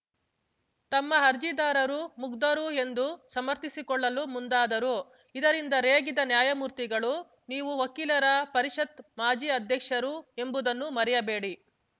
ತಮ್ಮ ಅರ್ಜಿದಾರರು ಮುಗ್ಧರು ಎಂದು ಸಮರ್ಥಿಸಿಕೊಳ್ಳಲು ಮುಂದಾದರು ಇದರಿಂದ ರೇಗಿದ ನ್ಯಾಯಮೂರ್ತಿಗಳು ನೀವು ವಕೀಲರ ಪರಿಷತ್‌ ಮಾಜಿ ಅಧ್ಯಕ್ಷರು ಎಂಬುದನ್ನು ಮರೆಯಬೇಡಿ